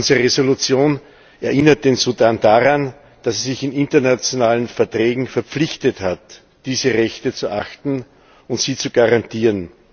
Unsere Entschließung erinnert den Sudan daran, dass er sich in internationalen Verträgen verpflichtet hat, diese Rechte zu achten und sie zu garantieren.